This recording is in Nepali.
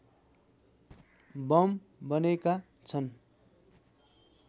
बम बनेका छन्